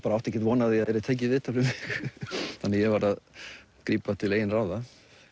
átti ekki von á að það yrði tekið viðtal við mig þannig að ég varð að grípa til eigin ráða